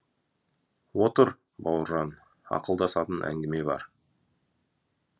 отыр бауыржан ақылдасатын әңгіме бар